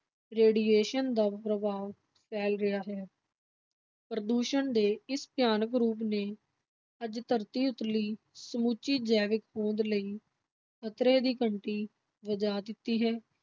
Radiation ਦਾ ਪ੍ਰਭਾਵ ਫੈਲ ਰਿਹਾ ਹੈ ਪ੍ਰਦੂਸ਼ਣ ਦੇ ਇਸ ਭਿਆਨਕ ਰੂਪ ਨੇ ਅੱਜ ਧਰਤੀ ਉਤਲੀ ਸਮੁੱਚੀ ਜੈਵਿਕ ਹੋਂਦ ਲਈ ਖ਼ਤਰੇ ਦੀ ਘੰਟੀ ਵਜਾ ਦਿੱਤੀ ਹੈ।